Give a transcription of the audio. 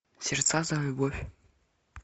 сердца за любовь